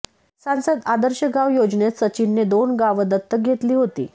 सांसद आदर्श गाव योजनेत सचिनने दोन गावं दत्तक घेतली होती